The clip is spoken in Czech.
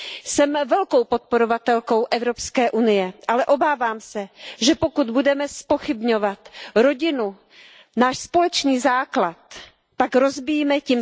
Jsem velkou podporovatelkou Evropské unie, ale obávám se, že pokud budeme zpochybňovat rodinu, náš společný základ, pak tím rozbíjíme také základ evropského společenství.